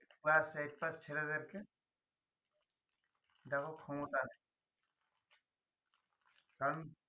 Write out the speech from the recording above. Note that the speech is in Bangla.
দেখো ক্ষমতা নেই কারন